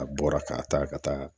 A bɔra ka taa ka taa